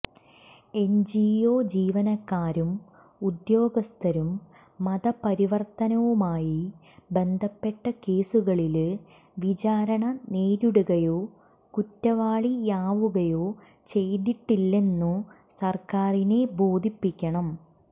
NGO ജീവനക്കാരും ഉദ്യോഗസ്ഥരും മതപരിവര്ത്തനവുമായി ബന്ധപ്പെട്ട കേസുകളില് വിചാരണ നേരിടുകയോ കുറ്റവാളിയാവുകയോ ചെയ്തിട്ടില്ലെന്നു സര്ക്കാരിനെ ബോധിപ്പിക്കണം